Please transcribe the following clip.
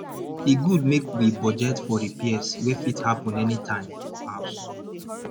e good make we budget for repairs wey fit happen anytime for house